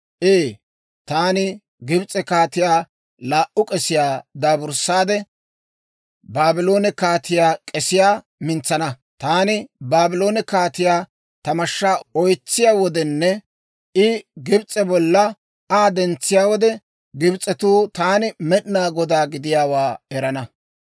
Ee, taani Gibs'e kaatiyaa laa"u k'esiyaa daaburssaade, Baabloone kaatiyaa k'esiyaa mintsana. Taani Baabloone kaatiyaa ta mashshaa oytsiyaa wodenne I Gibs'e bolla Aa dentsiyaa wode, Gibs'etuu taani Med'inaa Godaa gidiyaawaa erana.